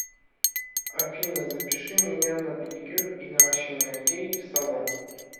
афина запиши меня на педикюр и наращивание ногтей в салон